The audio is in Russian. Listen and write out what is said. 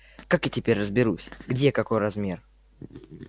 как я теперь разберусь где какой размер